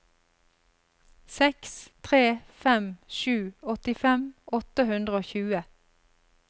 seks tre fem sju åttifem åtte hundre og tjue